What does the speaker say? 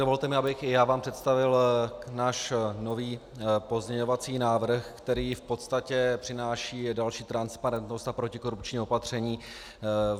Dovolte mi, abych i já vám představil náš nový pozměňovací návrh, který v podstatě přináší další transparentnost a protikorupční opatření.